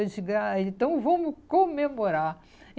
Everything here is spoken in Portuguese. Eu disse, gra, ele então vamos comemorar.